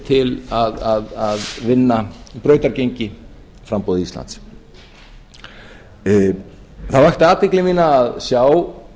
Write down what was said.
til að vinna brautargengi framboði íslands það vakti athygli mína að sjá